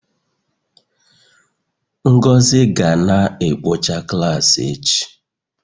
Ngozi ga na-ekpocha klaasị echi